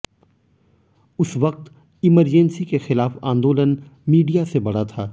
उस वक्त इमरजेन्सी के खिलाफ आंदोलन मीडिया से बड़ा था